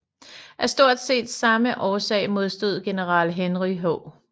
Af stort set samme årsag modstod general Henry H